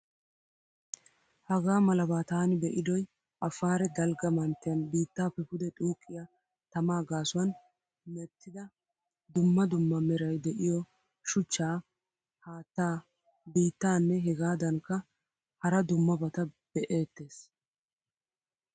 Hagaa malaba taani be'idoy Afare dalgga manttiyan bittappe pude xuqqiyaa tamaa gaasuwan meettida dumma dumma meray deiyo shuchcha, haattaa, biittaane hegadankka hara dummabata be'ettees.